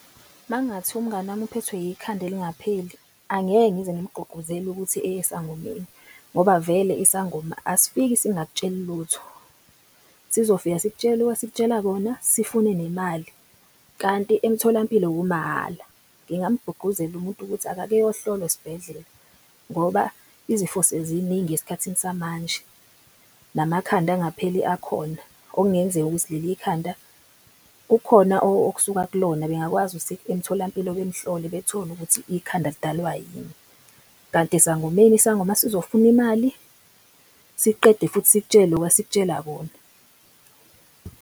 Makungathiwa umngani wami uphethwe ikhanda elingapheli. Angeke ngize ngimgqugquzele ukuthi eye esangomeni ngoba vele isangoma asifiki singak'tsheli lutho. Sizofika sikutshele loku esik'tshela kona, sifune nemali kanti emtholampilo kumahhala. Ngingamqugquzela umuntu ukuthi akake eyohlolwa esibhedlela ngoba izifo seziningi esikhathini samanje namakhanda angapheli akhona. Okungenzeka ukuthi leli ikhanda kukhona okusuka kulona bengakwazi ukuthi emtholampilo bemhlole bethole ukuthi ikhanda lidalwa yini. Kanti esangomeni isangoma sizofuna imali siqede futhi sikutshele loku esikutshela kona.